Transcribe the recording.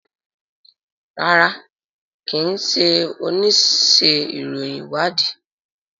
rárá kín ṣe onísé ìròyìn ìwádìí.